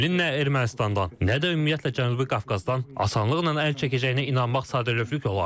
Kremlində Ermənistandan, nə də ümumiyyətlə Cənubi Qafqazdan asanlıqla əl çəkəcəyinə inanmaq sadəlövlük olar.